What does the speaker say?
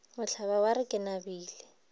mohlaba wa re ke nabile